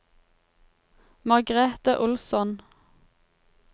Margrethe Olsson